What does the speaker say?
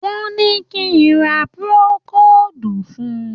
Wọ́n ní kí n ra procold fun.